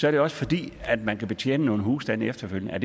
er det også fordi man kan betjene nogle husstande efterfølgende er